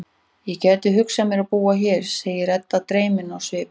Ég gæti hugsað mér að búa hér, segir Edda dreymin á svip.